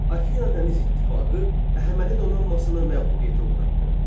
Afina dəniz ittifaqı Əhəməni donanmasına məğlubiyyətə uğratdı.